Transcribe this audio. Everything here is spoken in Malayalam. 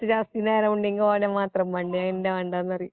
കുറച്ചു ജാസ്തി എങ്ങാനും നേരം മിണ്ടിയെങ്കിൽ ഓനെ മാത്രം മതി അന്നേ മാണ്ടാന്നുപറയും